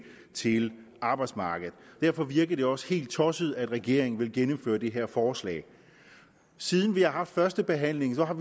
til arbejdsmarkedet derfor virker det også helt tosset at regeringen vil gennemføre det her forslag siden vi har haft første behandling har